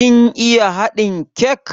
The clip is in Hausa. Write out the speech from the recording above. Kin iya haɗin kek?